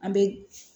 An bɛ